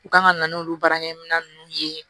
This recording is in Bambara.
U kan ka na n'olu baarakɛminɛn nunnu ye